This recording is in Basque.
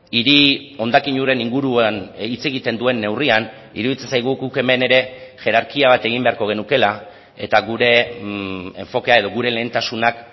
hiri hondakin uren inguruan hitz egiten duen neurrian iruditzen zaigu guk hemen ere jerarkia bat egin beharko genukeela eta gure enfokea edo gure lehentasunak